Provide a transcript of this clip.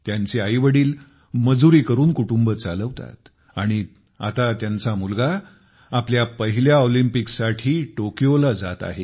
त्यांचे आईवडीलमजुरी करून कुटुंब चालवतात आणि आता त्यांचा मुलगा आपल्या पहिल्या ऑलिंपिकसाठी टोकियोला जात आहे